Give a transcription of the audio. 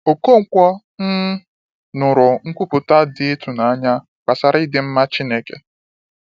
Okonkwo um nụrụ nkwupụta dị ịtụnanya gbasara ịdị mma Chineke.